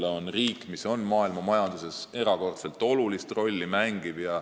See on riik, mis mängib maailmamajanduses erakordselt olulist rolli.